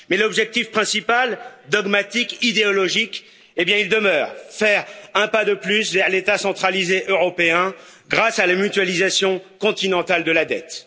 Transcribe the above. Mais l'objectif principal dogmatique, idéologique eh bien il demeure faire un pas de plus vers l'État centralisé européen grâce à la mutualisation continentale de la dette.